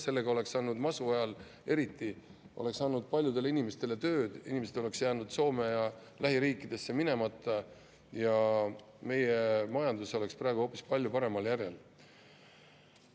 Sellega oleksime andnud, masu ajal eriti, paljudele inimestele tööd, inimesed oleksid jätnud Soome ja lähiriikidesse minemata ja meie majandus oleks praegu hoopis paremal järjel.